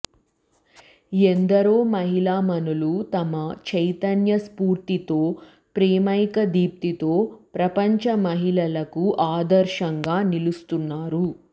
ఎందరో మహిళా మణులు తమ చైతన్య స్ఫూర్తితో ప్రేమైక దీప్తితో ప్రపంచ మహిళలకు ఆదర్శంగా నిలుస్తున్నారు